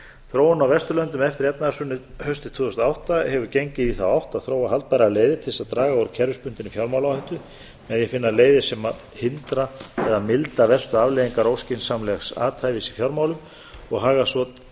þróun á vesturlöndum eftir efnahagshrunið haustið tvö þúsund og átta hefur gengið í þá átt að þróa haldbærar leiðir til þess að draga úr kerfisbundinni fjármálaáhættu með því að finna leiðir sem hindra eða milda verstu afleiðingar óskynsamlegs athæfis í fjármálum og hagar svo